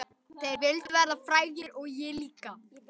Þeir vildu verða frægir og ég líka.